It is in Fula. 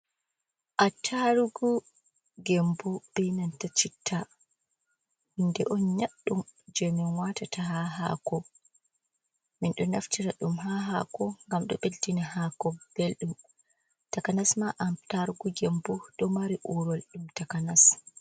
Attarugu Gembu benanta citta, hunde on nƴaddum jey min waatata ha haako. Min ɗo naftira ɗum ha haako ngam ɗo ɓeddina haako beldum. Takanas ma attarugu Gembu do mari uurol ɗum takanas.